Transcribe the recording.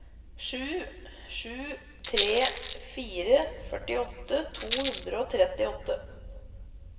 sju sju tre fire førtiåtte to hundre og trettiåtte